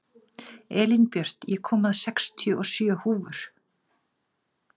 Elínbjört, ég kom með sextíu og sjö húfur!